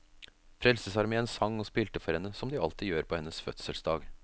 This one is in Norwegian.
Frelsesarmeen sang og spilte for henne, som de alltid gjør på hennes fødselsdag.